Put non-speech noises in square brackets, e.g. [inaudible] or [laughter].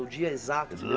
O dia exato assim? [unintelligible]